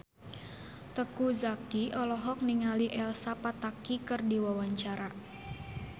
Teuku Zacky olohok ningali Elsa Pataky keur diwawancara